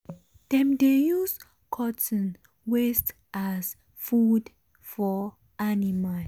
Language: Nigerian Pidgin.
dem dey use cotton waste as food for animal